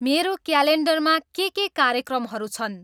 मेरो क्यायालेन्डरमा के के कार्यक्रमहरू छन्